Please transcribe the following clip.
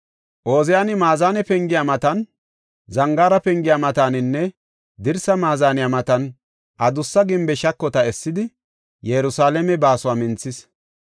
Ooziyani Maazane Pengiya matan, Zangaara Pengiya mataninne dirsaa Maazaniya matan adussa gimbe shakota essidi, Yerusalaame baasuwa minthis.